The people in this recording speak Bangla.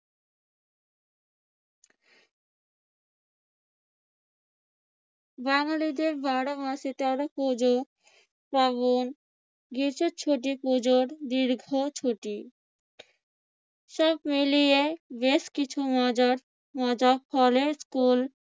বাঙালিদের বারো মাসে তেরো পূজো-পার্বণ। গ্রীষ্মের ছুটি পূজোর দীর্ঘ ছুটি সব মিলিয়ে বেশ কিছু মজার স্কুল